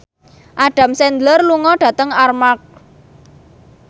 Adam Sandler lunga dhateng Armargh